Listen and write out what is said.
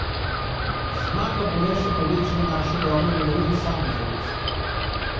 Zmaga bo le povečala našo dobro voljo in samozavest.